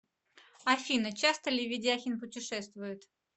афина часто ли ведяхин путешествует